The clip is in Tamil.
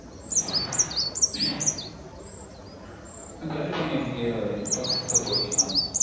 கலிஃபொர்னியா நீங்க எந்த process காக போறீங்க mam